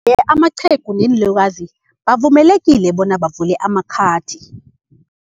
Amaqhegu neenlukazi bavumelekile bona bavule amakhathi.